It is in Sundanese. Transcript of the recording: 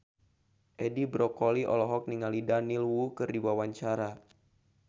Edi Brokoli olohok ningali Daniel Wu keur diwawancara